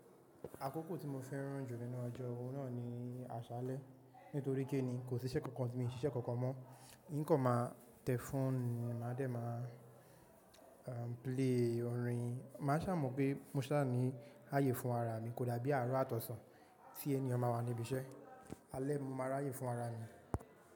Àkókò tí mo fẹ́ràn jù nínú ọjọ́, òun náà ni àṣálẹ́. Nítorí kíni kò sí iṣẹ́ kankan mí o ṣe isé kankan mọ́. Ǹkan máa tẹ̀ fòònu máa dẹ̀ máa play orin. Máa ṣà mọ̀ pé mo sá à ní ààyè fún ara mi kódà bí àárọ̀ àtọ̀sàn tí eniyan máa wà níbi iṣẹ́. Alẹ́ mo máa ráyè fún ara mi.